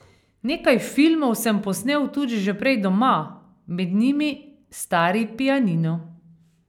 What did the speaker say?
Nekaj filmov sem posnel tudi že prej doma, med njimi Stari pianino.